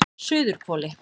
Suðurhvoli